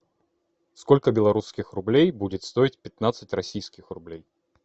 сколько белорусских рублей будет стоить пятнадцать российских рублей